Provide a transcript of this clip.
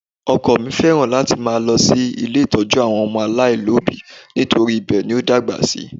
Ọkọ mi fẹ́ràn láti máa lọ ilé ìtọ́jú àwọn ọmọ aláìní òbí nítorí ibẹ̀ ni ó dàgbà sí